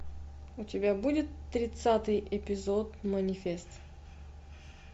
у тебя будет тридцатый эпизод манифест